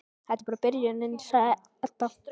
Þetta er bara byrjunin, segir Edda.